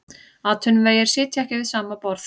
Atvinnuvegir sitja ekki við sama borð